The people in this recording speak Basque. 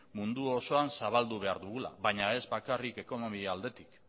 mundu osoan zabaldu behar dugula baina ez bakarrik ekonomia aldetik